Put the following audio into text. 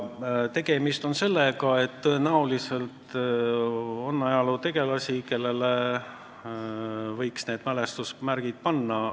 Siin on tegemist sellega, et tõenäoliselt on ajalootegelasi, kellele võiks need mälestusmärgid panna.